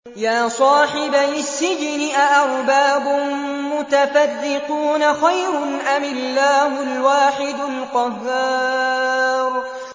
يَا صَاحِبَيِ السِّجْنِ أَأَرْبَابٌ مُّتَفَرِّقُونَ خَيْرٌ أَمِ اللَّهُ الْوَاحِدُ الْقَهَّارُ